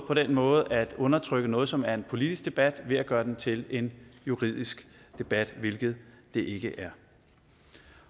på den måde at undertrykke noget som er en politisk debat ved at gøre den til en juridisk debat hvilket det ikke er